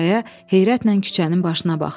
Sürəya heyrətlə küçənin başına baxdı.